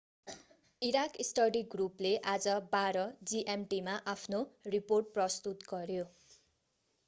Iraq study ग्रुपले आज 12.00 gmt मा आफ्नो रिपोर्ट प्रस्तुत गर्‍यो।